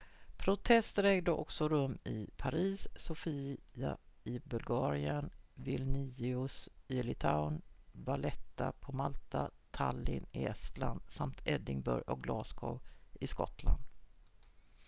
protester ägde också rum i paris sofia i bulgarien vilnius i litauen valetta på malta tallinn i estland samt edinburgh och glasgow i skottland